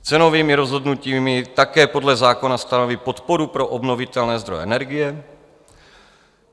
Cenovými rozhodnutími také podle zákona stanoví podporu pro obnovitelné zdroje energie.